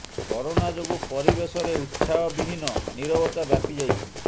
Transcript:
corona ଯୋଗୁଁ ପରିବେଶରେ ଉତ୍ସାହ ବିହୀନ ନୀରବତା ବ୍ୟାପି ଯାଇଛି